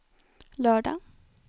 lördag